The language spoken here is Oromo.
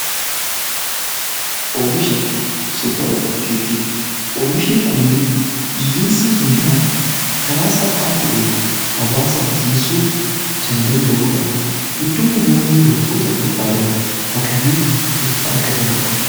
Oomisha suppermaarkeetii: oomishni kunniin hiyyeessi hunda karaa salphaa ta'een, hawaasaaf dhiyeessuu kan danda'udha. Iddoo namoonni wantoota barbaadan dhaqanii itti argatanidha.